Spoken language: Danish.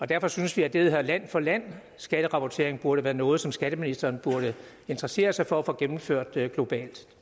derfor synes vi at det der hedder land for land skatterapportering burde være noget som skatteministeren burde interessere sig for at få gennemført globalt